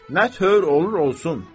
Nə tövr olur olsun.